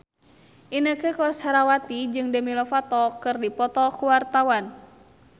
Inneke Koesherawati jeung Demi Lovato keur dipoto ku wartawan